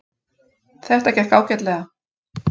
Þetta gekk ágætlega.